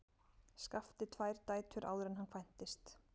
Skafti tvær dætur áður en hann kvæntist.